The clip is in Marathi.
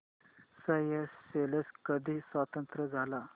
स्येशेल्स कधी स्वतंत्र झाला